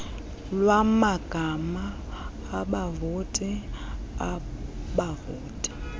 lwamagama abavoti abavoti